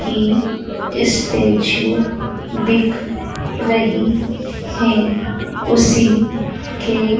की स्टेचू दिख रही है उसी के--